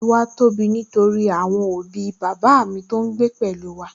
Ẹbí wa tóbi nítorí àwọn òbí bàbá mi ń gbé pẹ̀lú wa